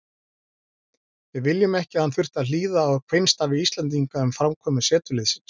Við viljum ekki að hann þurfti að hlýða á kveinstafi Íslendinga um framkomu setuliðsins.